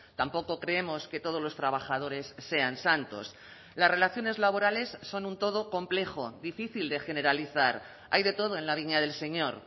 tampoco creemos que todos los trabajadores sean santos las relaciones laborales son un todo complejo difícil de generalizar hay de todo en la viña del señor